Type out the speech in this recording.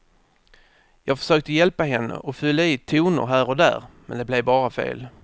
Jag försökte hjälpa henne och fylla i toner här och där, men det blev bara fel.